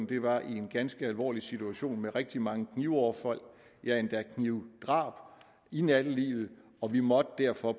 det var i en ganske alvorlig situation med rigtig mange knivoverfald ja endda knivdrab i nattelivet og vi måtte derfor